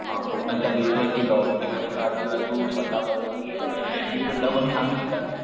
अ कोकण च्या बीच वरती डॉल्फिन असतात कि तू स्वतः बघितले कि तुला कोणी सांगितले?